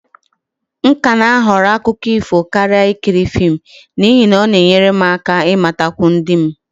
I still prefer fairy tales over watching movies, as it helps me to gain more knowledge of my people.